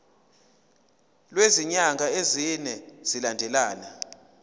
kwezinyanga ezine zilandelana